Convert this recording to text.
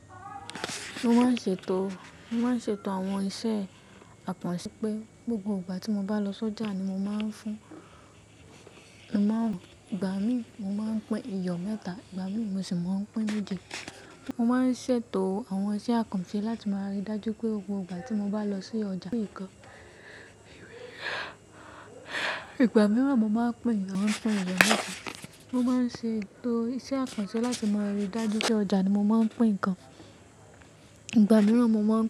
Mo máa ń ṣètò, mo máa ń ṣètò àwọn iṣẹ́ àpọ̀nsẹ́ pé gbogbo ìgbà tí mo bá lọ sójà ni mo máa ń fún, ìgbà mìíràn mo máa ń pín iyọ̀ mẹ́ta, ìgbà mìíràn mo sì máa ń pín méjì. Mo máa ń ṣètò àwọn iṣẹ́ àkànṣe láti máa rí dájú pé gbogbo ìgbà tí mo bá lọ sí ọjà pín ǹkan. Ìgbà mìíràn mo máa ń pín, a wá pín iyọ̀ méta. Mo máa ń ṣètò iṣẹ́ àkànṣẹ́ láti máa rí dájú pé ọjà ni mo máa ń pín ǹkan. Ìgbà mìíràn mo máa ń.